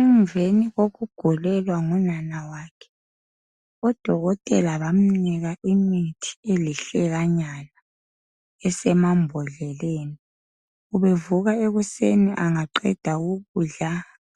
Emveni kokugulelwa ngunana wakhe , odokotela bamnika imithi elihlekanyana esemambodleleni. Ubevuka ekuseni angaqeda ukudla